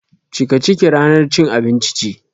Cika ciki ranar cin abinci ce